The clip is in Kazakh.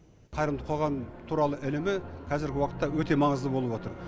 қайырымды қоғам туралы ілімі қазіргі уақытта өте маңызды болып отыр